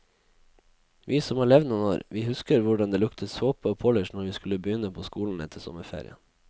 Vi som har levd noen år, vi husker hvordan det luktet såpe og polish når vi skulle begynne på skolen etter sommerferien.